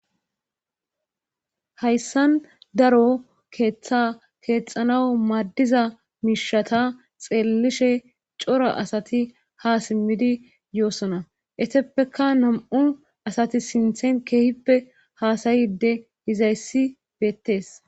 hayssan daro keeththa keexanaw maaddiza miishata xeellishe cora asati ha simmidi yoosona eteppeka nam7u asati sinthen keehippe haasayide izayssi beettees